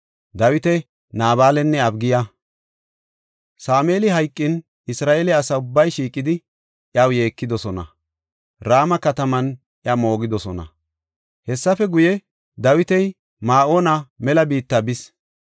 Sameeli hayqin, Isra7eele asa ubbay shiiqidi, iyaw yeekidosona; Rama kataman iya moogidosona. Hessafe guye, Dawiti Ma7oona mela biitta bis.